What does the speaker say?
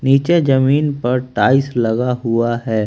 नीचे जमीन पर टाइल्स लगा हुआ है।